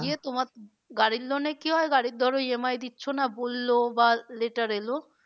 তোমার গাড়ির loan এ কি হয় গাড়ির ধরো EMI দিচ্ছ না বললো বা letter এলো